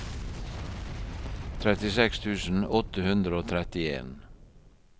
trettiseks tusen åtte hundre og trettien